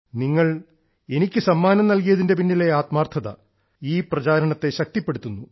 നിങ്ങൾ എനിക്ക് സമ്മാനം നൽകിയതിന്റെ പിന്നിലെ ആത്മാർത്ഥത ഈ പ്രചരണത്തെ ശക്തിപ്പെടുത്തുന്നു